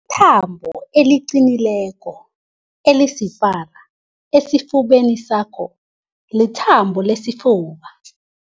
thambo eliqinileko elisipara esifubeni sakho lithambo lesifuba.